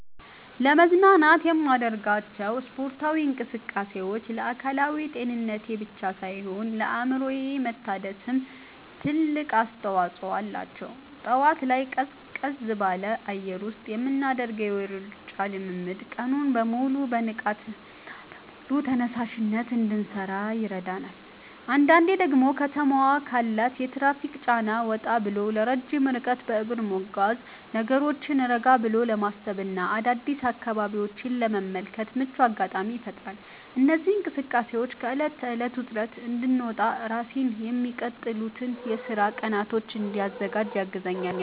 ለመዝናናት የማደርጋቸው ስፖርታዊ እንቅስቃሴዎች ለአካላዊ ጤንነቴ ብቻ ሳይሆን ለአእምሮዬ መታደስም ትልቅ አስተዋጽኦ አላቸው። ጠዋት ላይ ቀዝቀዝ ባለ አየር ውስጥ የምናደርገው የሩጫ ልምምድ ቀኑን በሙሉ በንቃትና በሙሉ ተነሳሽነት እንድሠራ ይረዳኛል። አንዳንዴ ደግሞ ከተማዋ ካላት የትራፊክ ጫና ወጣ ብሎ ረጅም ርቀት በእግር መጓዝ፣ ነገሮችን ረጋ ብሎ ለማሰብና አዳዲስ አካባቢዎችን ለመመልከት ምቹ አጋጣሚ ይፈጥርልኛል። እነዚህ እንቅስቃሴዎች ከዕለት ተዕለት ውጥረት እንድወጣና ራሴን ለሚቀጥሉት የሥራ ቀናት እንድዘጋጅ ያግዙኛል።